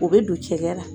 O bɛ don cɛkɛ la